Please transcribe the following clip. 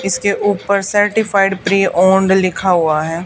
इसमें ऊपर certified pre owned लिखा हुआ हैं।